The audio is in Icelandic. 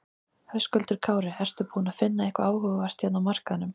Höskuldur Kári: Ertu búinn að finna eitthvað áhugavert hérna á markaðnum?